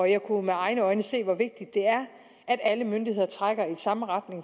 jeg kunne med egne øjne se hvor vigtigt det er at alle myndigheder trækker i samme retning